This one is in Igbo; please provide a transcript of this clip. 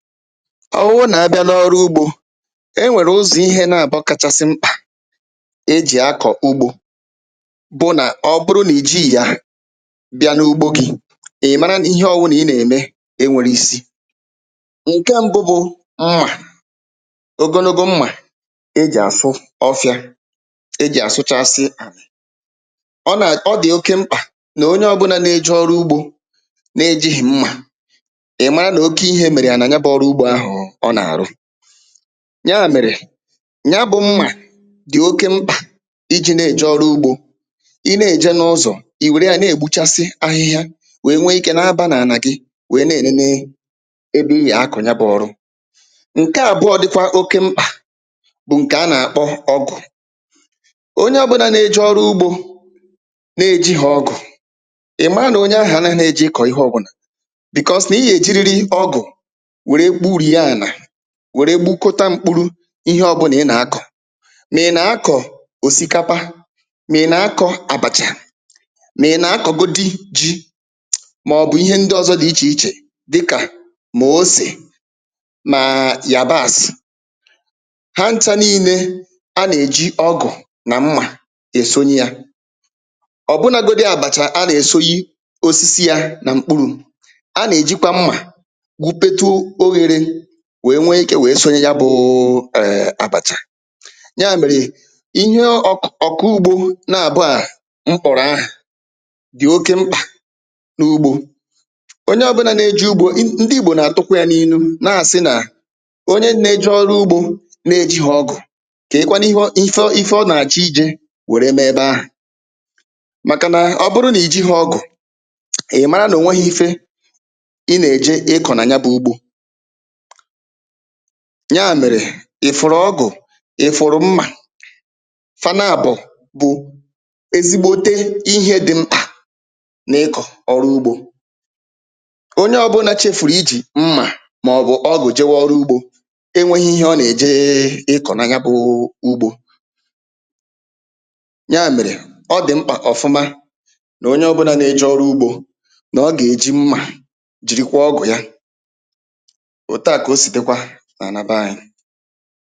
ọ wụụ nà a bịa n’ọrụ ugbō e nwèrè ụzọ̀ ihē na abụọ kachasị mkpà e jị akọ̀ ugbō bụ nà ọ bụrụ nà ì jịghị̀ ya bịa n’ugbo gị̄ ị̀ mara nà ihe ọwụnà ị nà ème e nwēre isi ǹkẹ mbụ bụ̄ mmà ogonogo mmà e jì àsụ ọfịā e jì àsụchasị ọ nà ọ dị̀ oke mkpà nà onye ọbụna n eje ọrụ ugbō na ejighì mmà ị̀ maa nà oke ihē mèrè ya nà ya bụ ọrụ ugbō ahụ̀ ọwụ̄ ọ nà àrụ yà mèrè ya bụ mmà dị̀ oke mkpà ịjị̄ nà èjè ọrụ ugbō ị nà èjè n’ụzọ̀ ị̀ wèrè ya nà ègbuchasi ahihia wee nwe ikē na abā nà ànà gị wee nà e nene ebe ị yà akọ̀ ya bụ̄ ọrụ ǹke àbụọ dịkwa oke mkpà bụ ǹkẹ̀ a nà àkpọ ọgụ̀ onye ọbụna nà eje ọrụ ugbō nà ejighì ọgụ̀ ị̀ maa nà onye ahụ̀ a na ne je ịkọ̀ ihe ọbụlà bị̀kọs nà ị yà è jiriri ọgụ wère gburie ànà wère gbukota mkpuru ihe ọbụna ị nà akọ̀ mà ị nà akọ̀ òsìkapa mà ị nà akọ̄ àbàchà mà ị nà akọ̀godi jị̄ mà ọ̀ bụ̀ ihe ndị ọzọ dị ichè ichè dịkà mà osè màà yàbàs hancha nine a nà eji ọgụ̀ nà mmà èsonye yā ọ̀ bụna godi àbàchà a nà èsoyi osisi yā nà mkpụrụ̄ a nà e jịkwa mmà gwupetu oyēre wee nwe ikē wee sonye ya bụụ ẹ̀ẹ̀ àbàchà nyà mèrè ị nyụọ ọk..ọ̀kụ̀ ugbō na àbụọ à m kpọ̀rọ̀ ahà dị̀ oke mkpà n’ugbō onye ọ bụnā nà ẹjẹ̄ ugbō n. ndị ìgbò nà àtụkwa yā n’inu nà àsị nà onye na eje ọlụ ugbō na ejịghị̀ ọgụ̀ kee kwanụ ihe ọ..ife ọ nà àchọ ijē wèrè mee ẹbẹ ahụ̀ màkà nà ọ bụ nà ì jighi ọgụ̀ ị̀ mara nà ò nweghi ife ị nà èjè ị kọ nà ya bụ ugbō nyà mèrè ị̀ fụ̀rụ̀ ọgụ̀ ị̀ fụ̀rụ̀ mmà fa n’abọ̀ bụ̀ ezigbote ihē dị mkpà n’ịkọ̀ ọrụ ugbō onye ọbụnā chefùrù ịjị̀ mmà mà ọ̀ bụ̀ ọgụ̀ e nweghi ihe ọ nà èje ịkọ̀ nà ya bụ ugbō nyà mèrè ọ dị̀ mkpà ọ̀fụma nà onye o bụnā na eje ọrụ ugbō nà ọ gà èji mmà jị̀rịkwa ọgụ̀ ya òtù a kà o sì dịkwa n’ànà bee anyị